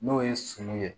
N'o ye sunu ye